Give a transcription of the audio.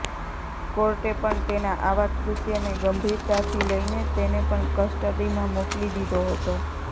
કોર્ટે પણ તેના આવા કૃત્યને ગંભીરતાથી લઈને તેને પણ કસ્ટડીમાં મોકલી દીધો હતો